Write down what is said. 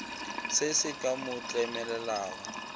se se ka mo tlemelelago